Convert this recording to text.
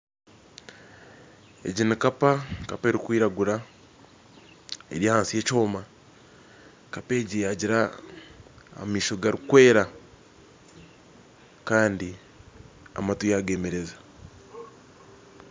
Egi nikapa kapa erikwiragura, eri ahansi ya ekyoma, kapa egi yagira amaisho garikwera kandi amatu yagemereza.